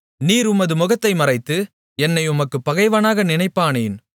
நீர் உமது முகத்தை மறைத்து என்னை உமக்குப் பகைவனாக நினைப்பானேன்